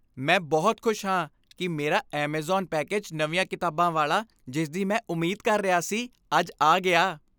ਮੈਂ ਬਹੁਤ ਖੁਸ਼ ਹਾਂ ਕਿ ਮੇਰਾ ਐਮਾਜ਼ਾਨ ਪੈਕੇਜ ਨਵੀਆਂ ਕਿਤਾਬਾਂ ਵਾਲਾ, ਜਿਸਦੀ ਮੈਂ ਉਮੀਦ ਕਰ ਰਿਹਾ ਸੀ, ਅੱਜ ਆ ਗਿਆ।